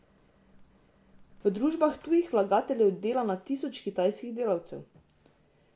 V družbah tujih vlagateljev dela na tisoče kitajskih delavcev.